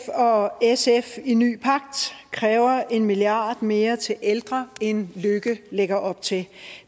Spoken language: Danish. og sf i ny pagt kræver en milliard mere til ældre end løkke lægger op til